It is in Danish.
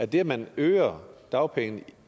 det at man øger dagpengene